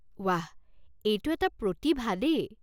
ৱাহ, এইটো এটা প্ৰতিভা দেই।